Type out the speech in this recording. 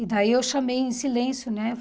E daí eu chamei em silêncio, né?